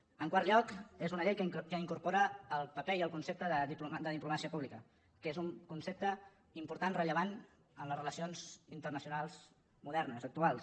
en quart lloc és una llei que incorpora el paper i el concepte de diplomàcia pública que és un concepte important rellevant en les relacions internacionals modernes actuals